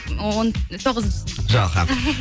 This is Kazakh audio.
он тоғызыншы сыныптың жоға